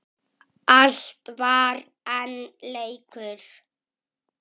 Allt var enn leikur.